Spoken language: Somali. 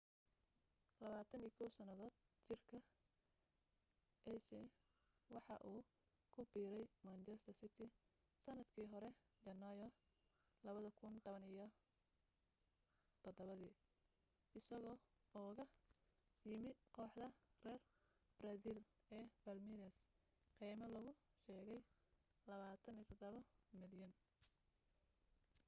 21 sannadood jirka ciise waxa uu ku biiray manchester city sannadkii hore janaayo 2017 isagoo ugaga yimu kooxda reer baraasiil ee palmeiras qiime lagu sheegay £27 milyan